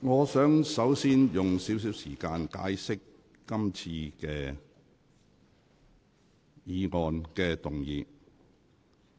我想首先簡述今次議員修改《議事規則》的事宜。